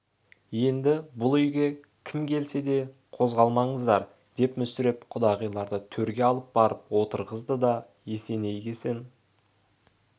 енді бұл үйге кім келсе де қозғалмаңыздар деп мүсіреп құдағиларды төрге алып барып отырғызды да есенейгесен ғой